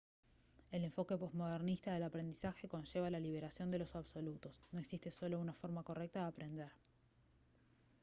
el enfoque posmodernista del aprendizaje conlleva la liberación de los absolutos no existe solo una forma correcta de aprender